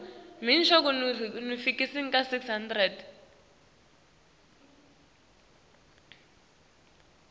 nekwenta ncono timo